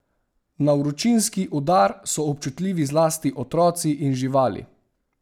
Na vročinski udar so občutljivi zlasti otroci in živali.